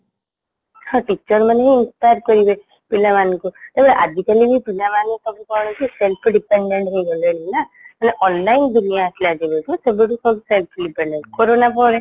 ହଁ teacher ମାନେହିଁ inspire କରିବେ ପିଲାମାନଙ୍କୁ ଆଜିକଲି ପିଲାମାନେ ସବୁକଣକି self depended ହେଇଗଲେଣିନା ହେଲେ online ଦୁନିଆ ଆସିଲା ଯେବେଠୁ ସେବେଠୁ ସବୁ self depended corona ପରେ